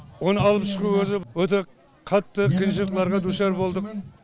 оны алып шығу өзі өте қатты қиыншылықтарға душар болдық